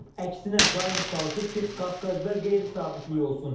Əksinə, daim çalışıb ki, Qafqazda qeyri-sabitlik olsun.